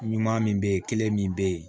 Ɲuman min bɛ ye kelen min bɛ ye